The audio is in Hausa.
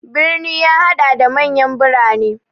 Birni ya haɗa da manyan birane.